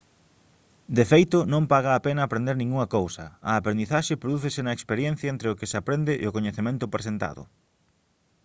de feito non paga a pena aprender ningunha cousa a aprendizaxe prodúcese na experiencia entre o que aprende e o coñecemento presentado